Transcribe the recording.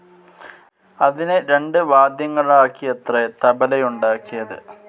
അതിനെ രണ്ട് വാദ്യങ്ങളാക്കിയത്രെ തബലയുണ്ടാക്കിയത്.